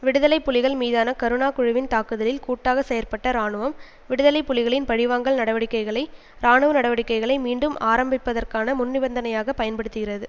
விடுதலை புலிகள் மீதான கருணா குழுவின் தாக்குதலில் கூட்டாக செயற்பட்ட இராணுவம் விடுதலை புலிகளின் பழிவாங்கல் நடவடிக்கைகளை இராணுவ நடவடிக்கைகளை மீண்டும் ஆரம்பிப்பதற்கான முன்நிபந்தனையாக பயன்படுத்துகிறது